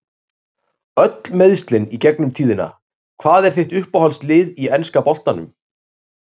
Öll meiðslin í gegnum tíðina Hvað er þitt uppáhaldslið í enska boltanum?